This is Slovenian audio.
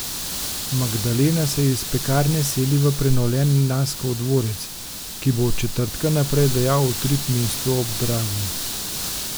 Magdalena se iz Pekarne seli v prenovljen Naskov dvorec, ki bo od četrtka naprej dajal utrip mestu ob Dravi.